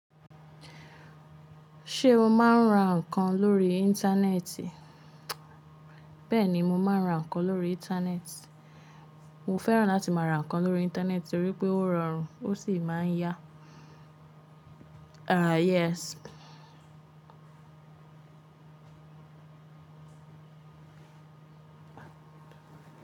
Ṣé o máa ń ra nǹkan lórí Íńtánẹ́ẹ̀tì? Bẹ́ẹ̀ni mo máa ń ra nǹkan lórí Íńtánẹ́ẹ̀tì. Mo fẹ́ràn láti máa ra nǹkan lórí Íńtánẹ́ẹ̀tì torí pé ó rọrùn ó sì máa ń yá. Ah, yes.